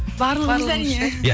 барлығымыз әрине иә